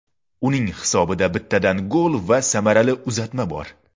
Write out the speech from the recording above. Uning hisobida bittadan gol va samarali uzatma bor.